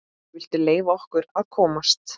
VILTU LEYFA OKKUR AÐ KOMAST!